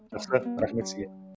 жақсы рахмет сізге